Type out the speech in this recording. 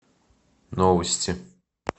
новости